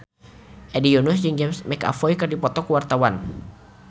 Hedi Yunus jeung James McAvoy keur dipoto ku wartawan